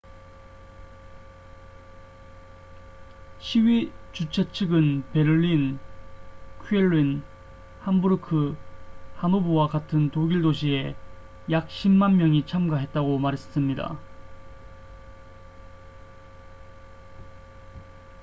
시위 주최 측은 베를린 쾰른 함부르크 하노버와 같은 독일 도시에 약 10만 명이 참가했다고 말했습니다